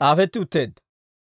s'aafetti utteedda.